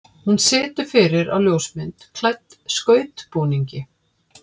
Hún situr fyrir á ljósmynd klædd skautbúningi.